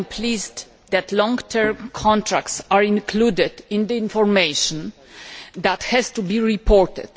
I am pleased that long term contracts are included in the information that has to be reported.